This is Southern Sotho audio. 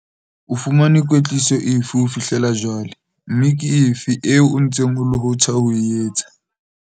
O fumane kwetliso efe ho fihlela jwale, mme ke efe eo o ntseng o lohotha ho e etsa?